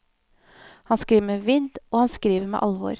Han skriver med vidd og han skriver med alvor.